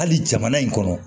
Hali jamana in kɔnɔ